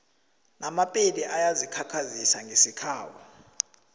amapedi ayazikhakhazisa ngesikhabo